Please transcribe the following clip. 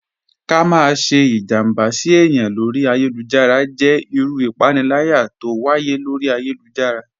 Ká má sẹ́ ìjàmbá sí èyàn lọ́rí ayélujára jẹ́ ìrù ìpánìlàyà t'ọ wáyé lọ́rí ayélujára.